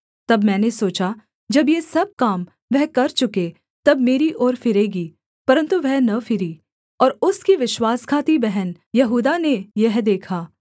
तब मैंने सोचा जब ये सब काम वह कर चुके तब मेरी ओर फिरेगी परन्तु वह न फिरी और उसकी विश्वासघाती बहन यहूदा ने यह देखा